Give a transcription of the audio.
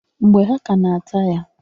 Mgbe ha ka na ata ya.